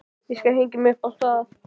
Ég skal hengja mig upp á það!